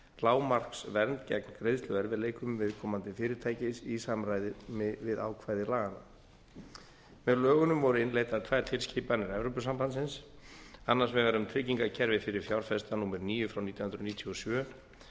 lágmarksvernd gegn greiðsluerfiðleikum viðkomandi fyrirtækis í samræmi við ákvæði laganna með lögunum voru innleiddar tvær tilskipanir evrópusambandsins annars vegar um tryggingakerfi fyrir fjárfesta númer níu frá nítján hundruð níutíu og sjö